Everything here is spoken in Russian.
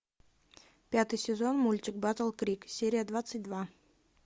пятый сезон мультик батл крик серия двадцать два